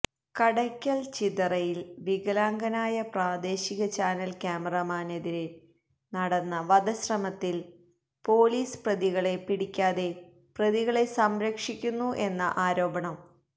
കടയ്ക്കൽ ചിതറയില് വികലാംഗനായ പ്രാദേശിക ചാനൽ ക്യാമറാമാനെതീരെ നടന്ന വധശ്രമത്തിൽ പോലീസ് പ്രതികളെ പിടിക്കാതെ പ്രതികളെ സംരക്ഷിക്കുന്നു എന്ന ആരോപണം